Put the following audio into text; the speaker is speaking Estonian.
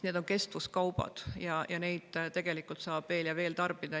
Need on kestvuskaubad, neid tegelikult saab veel ja veel tarbida.